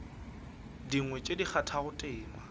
dingwe tše di kgathago tema